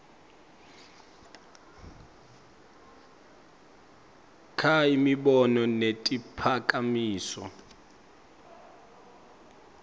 kha imibono netiphakamiso